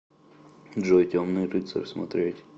джой темный рыцарь смотреть